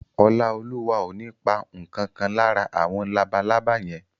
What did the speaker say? Ọláolúwa ò ní pa ǹkan kan lára àwọn labalábá yẹn